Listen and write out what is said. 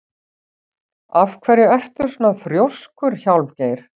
Af hverju ertu svona þrjóskur, Hjálmgeir?